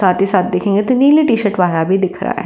साथ ही साथ देखेंगे तो नीले टीशर्ट वाला भी दिख रहा है।